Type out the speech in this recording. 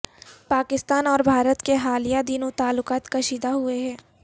پاکستان اور بھارت کے حالیہ دنوں تعلقات کشیدہ ہوئے ہیں